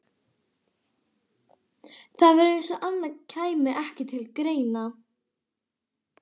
Það var eins og annað kæmi ekki til greina.